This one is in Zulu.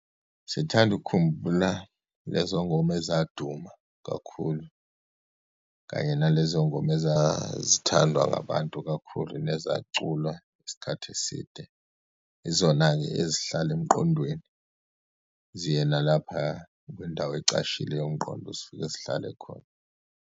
Sithanda ukukhumbula lezo ngoma ezaduma kakhulu, kanye nalezo ngoma ezazithandwa ngabantu kakhulu, nezaculwa isikhathi eside. Izona-ke ezihlala emqondweni, ziye nalaphaya kwindawo ecashile yomqondo, zifike zihlale khona.